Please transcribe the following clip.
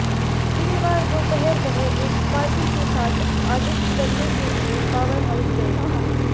वीरवार दोपहर वह एक पार्टी के साथ आडिट करने के लिए पावर हाउस गए थे